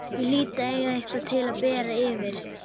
Ég hlýt að eiga eitthvað til að bera yfir.